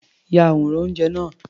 Ya àwòrán oúnjẹ náà.